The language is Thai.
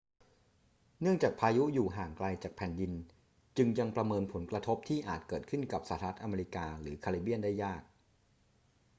เนื่องจากพายุอยู่ห่างไกลจากแผ่นดิน จึงยังประเมินผลกระทบที่อาจเกิดขึ้นกับสหรัฐอเมริกาหรือแคริบเบียนได้ยาก